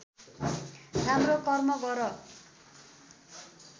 राम्रो कर्म गर